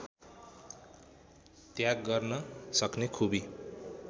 त्याग गर्न सक्ने खुबी